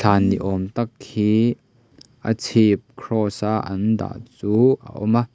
van ni awm tak hi a chhip cross a an dah chu a awm a.